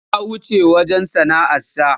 Ya wuce wurin sana'arsa.